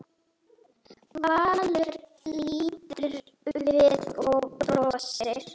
Valur lítur við og brosir.